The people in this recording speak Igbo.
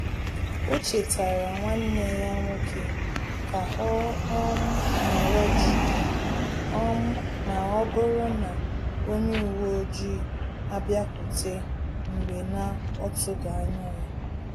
O chetara nwanneya nwoke ka ọ um nọrọ jii um ma ọ bụrụ na onye uwe ọjị abịakwute mgbe na-otughi anya ya